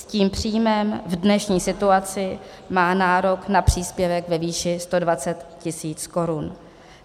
S tím příjmem v dnešní situaci má nárok na příspěvek ve výši 120 tisíc korun.